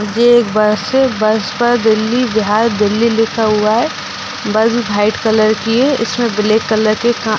ये एक बस है बस पर दिल्ली-बिहार-दिल्ली लिखा हुआ है बस वाइट कलर की है इसमें ब्लैक कलर के का--